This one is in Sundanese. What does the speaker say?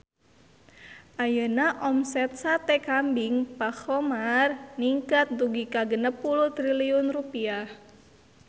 Ayeuna omset Sate Kambing Pak Khomar ningkat dugi ka 60 triliun rupiah